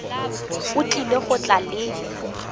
o tlile go tla le